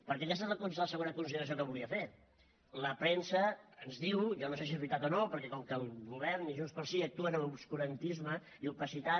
perquè aquesta és la segona consideració que volia fer la premsa ens diu jo no sé si és veritat o no perquè com que el govern i junts pel sí actuen amb obscurantisme i opacitat